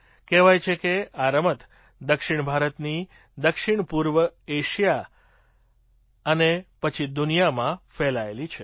કહેવાય છે કે આ રમત દક્ષિણ ભારતથી દક્ષિણ પૂર્વ એશિયા અને પછી દુનિયામાં ફેલાયેલી છે